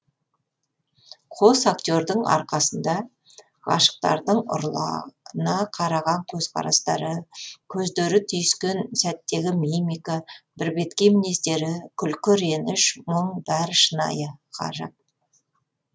қос актердың арқасында ғашықтардың ұрлана қараған көзқарастары көздері түйіскен сәттегі мимика бірбеткей мінездері күлкі реніш мұң бәрі шынайы шыққан ғажап